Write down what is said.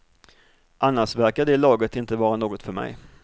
Annars verkar det laget inte vara något för mig.